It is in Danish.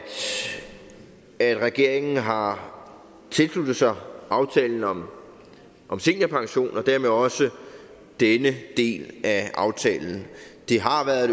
at regeringen har tilsluttet sig aftalen om om seniorpension og dermed også denne del af aftalen det har været